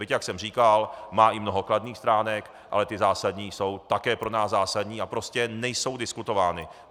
Byť, jak jsem říkal, má i mnoho kladných stránek, ale ty zásadní jsou také pro nás zásadní a prostě nejsou diskutovány.